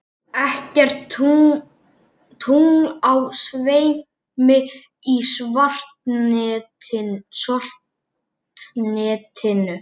Ekkert tungl á sveimi í svartnættinu.